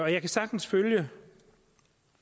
jeg kan sagtens følge